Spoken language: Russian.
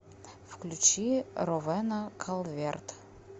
включи ровэна калверт